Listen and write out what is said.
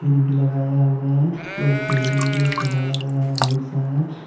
भी लगाया हुआ है और बैलून भी सजाया गया है बहुत सारा।